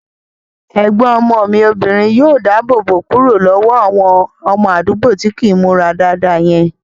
Ẹ̀gbọ́n ọmọ mi obìnrin yóò dáàbò bò kúrò lọ́wọ́ àwọn ọmọ àdúgbò tí kìí n múra dáadáa yẹn